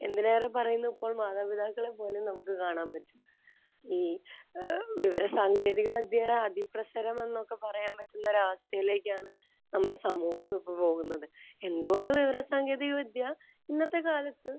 എന്തിനേറെ പറയുന്നു ഇപ്പോൾ മാതാപിതാക്കളെപ്പോലും നമുക്ക് കാണാൻ പറ്റും. ഈ ഏഹ് വിവരസാങ്കേതികവിദ്യയുടെ അതിപ്രസരം എന്നൊക്കെ പറയാൻ പറ്റുന്ന ഒരു അവസ്ഥയിലേക്കാണ് നമ്മുടെ സമൂഹം ഇപ്പോൾ പോകുന്നത്. എന്ത്കൊണ്ട് വിവരസാങ്കേതികവിദ്യ ഇന്നത്തെ കാലത്ത്